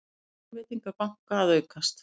Lánveitingar banka að aukast